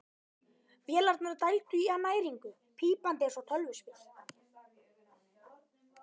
Vélarnar dældu í hann næringu, pípandi eins og tölvuspil.